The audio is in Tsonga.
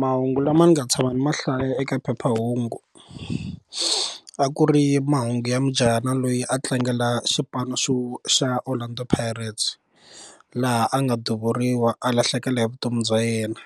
Mahungu lama ni nga tshama ni mahlaya eka phephahungu a ku ri mahungu ya mujahana loyi a tlangela xipano xo xa Orlando Pirates laha a nga duvuriwa a lahlekela hi vutomi bya yena